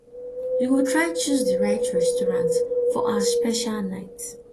you go try choose di right restaurant for our special night